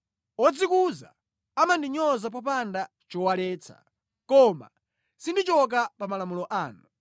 Odzikuza amandinyoza popanda chowaletsa, koma sindichoka pa malamulo anu.